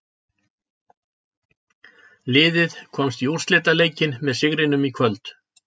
Liðið komst í úrslitaleikinn með sigrinum í kvöld.